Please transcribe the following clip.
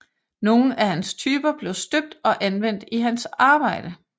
Nogle af hans typer blev støbt og anvendt i hans arbejde